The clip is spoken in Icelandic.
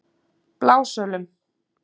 Blásölum